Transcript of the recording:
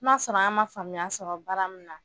N'a sɔrɔ an ma faamuya sɔrɔ bara min na